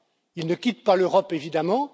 Il ne quitte pas l'Europe, évidemment.